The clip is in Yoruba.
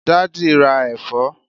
daddy ra èfó